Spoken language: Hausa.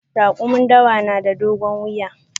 Rakumin dawa na da dogon wuya.